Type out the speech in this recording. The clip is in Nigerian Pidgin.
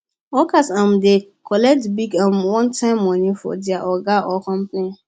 workers um dey collect big um onetime money from their oga or company